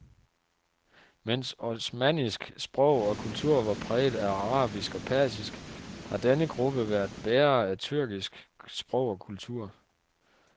Mens osmannisk sprog og kultur var præget af arabisk og persisk, har denne gruppe været bærere af tyrkisk sprog og kultur.